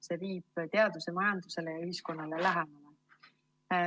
See viib teaduse majandusele ja ühiskonnale lähemale.